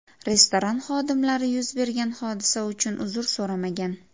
Restoran xodimlari yuz bergan hodisa uchun uzr so‘ramagan.